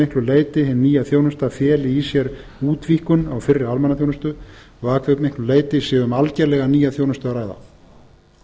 miklu leyti hin nýja þjónusta feli í sér útvíkkun á fyrri almannaþjónustu og að hve miklu leyti sé um algerlega nýja þjónustu að ræða